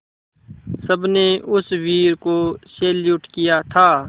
सबने उस वीर को सैल्यूट किया था